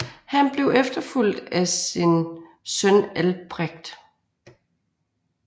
Han blev efterfulgt af sin søn Albrecht